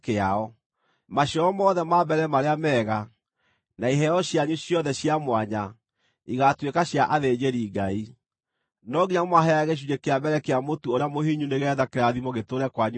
Maciaro mothe ma mbere marĩa mega, na iheo cianyu ciothe cia mwanya, igaatuĩka cia athĩnjĩri-Ngai. No nginya mũmaheage gĩcunjĩ kĩa mbere kĩa mũtu ũrĩa mũhinyu nĩgeetha kĩrathimo gĩtũũre kwanyu mĩciĩ.